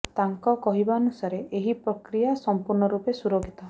ତାଙ୍କ କହିବା ଅନୁସାରେ ଏହି ପ୍ରକ୍ରିୟା ସମ୍ପୂର୍ଣ୍ଣ ରୂପେ ସୁରକ୍ଷିତ